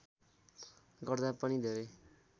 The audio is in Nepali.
गर्दा पनि धेरै